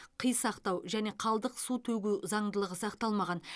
қи сақтау және қалдық су төгу заңдылығы сақталмаған